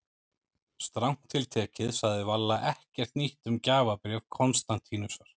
Strangt til tekið sagði Valla ekkert nýtt um gjafabréf Konstantínusar.